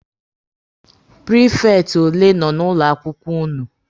Prifekti ole nọ na ụlọ akwụkwọ ụnụ?